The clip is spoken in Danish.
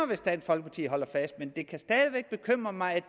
hvis dansk folkeparti holder fast men det kan stadig væk bekymre mig at